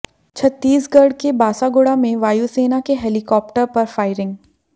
छत्तीसगढ़ के बासागुड़ा में वायुसेना के हेलीकॉप्टर पर फ़ायरिंग